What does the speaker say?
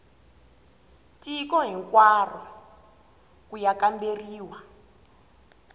tiko hinkwaro ku ya kamberiwa